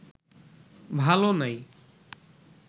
ভালো নাই